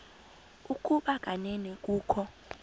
ukuba kanene kukho